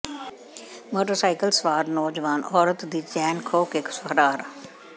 motorcycle ਸਵਾਰ ਨੌਜਵਾਨ ਔਰਤ ਦੀ ਚੇਨ ਖੋਹ ਕੇ ਫਰਾਰ